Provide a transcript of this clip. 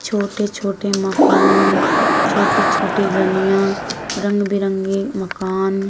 छोटे छोटे मकान छोटी छोटी गलियां रंग बिरंगे मकान।